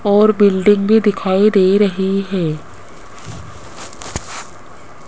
और बिल्डिंग भी दिखाई दे रही है।